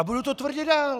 A budu to tvrdit dál.